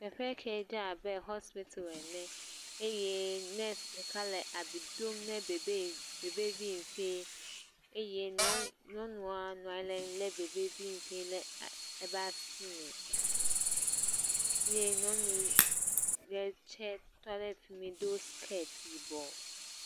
Teƒe ke dze abe hɔspitel ene eye nɔsi ɖeka le abi dom na babɛvi bebɛvi fɛ eye nɔe nyɔnua nɔ anyi le bebɛvi fɛ ɖe eƒe asi me ye nyɔnu ɖe tse tɔ ɖe fi mi do siketi yibɔ.